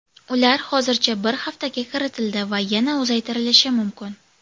Ular hozircha bir haftaga kiritildi va yana uzaytirilishi mumkin.